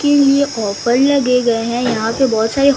के लिए कॉपर लगे गएं हैं यहा पे बहोत सारे--